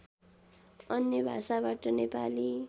अन्य भाषाबाट नेपाली